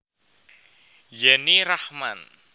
Yenny Rachman